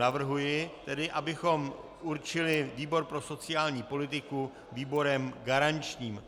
Navrhuji tedy, abychom určili výbor pro sociální politiku výborem garančním.